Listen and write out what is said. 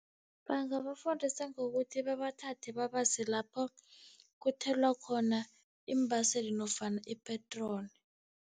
Bangabafundisa ngokuthi babathathe babase lapho kuthelwa khona iimbaseli nofana ipetroli.